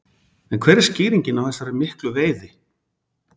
En hver er skýringin á þessari miklu veiði?